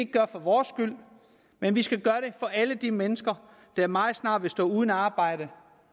gøre for vores skyld men vi skal gøre det for alle de mennesker der meget snart vil stå uden arbejde